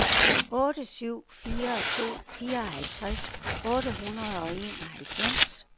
otte syv fire to fireoghalvtreds otte hundrede og enoghalvfems